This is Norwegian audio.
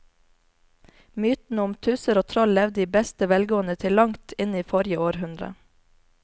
Mytene om tusser og troll levde i beste velgående til langt inn i forrige århundre.